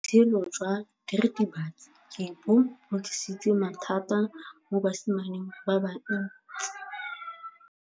Botshelo jwa diritibatsi ke bo tlisitse mathata mo basimaneng ba bantsi.